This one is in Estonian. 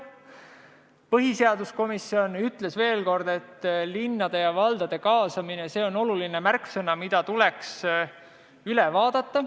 Põhiseaduskomisjon ütles, et linnade ja valdade kaasamine on oluline teema, mis tuleks üle vaadata.